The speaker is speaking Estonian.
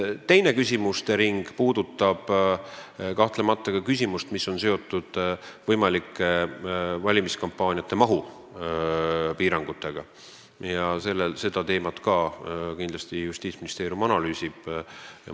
Teine küsimuste ring, mida Justiitsministeerium samuti analüüsib, puudutab teemat, mis on seotud valimiskampaaniate mahu piiramisega.